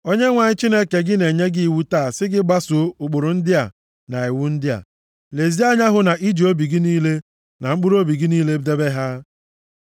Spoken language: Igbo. Onyenwe anyị Chineke gị na-enye gị iwu taa si gị gbaso ụkpụrụ ndị a na iwu ndị a. Lezie anya hụ na i ji obi gị niile na mkpụrụobi gị niile debe ha.